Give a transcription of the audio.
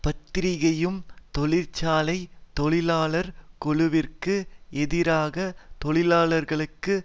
பத்திரிகையும் தொழிற்சாலை தொழிலாளர் குழுவிற்கு எதிராக தொழிலாளர்களுக்கு